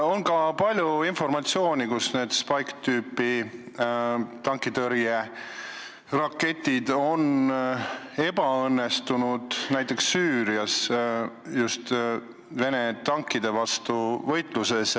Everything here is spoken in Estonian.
On ka palju informatsiooni selle kohta, et need Spike'i tüüpi tankitõrjeraketid on ebaõnnestunud, näiteks Süürias just Vene tankide vastases võitluses.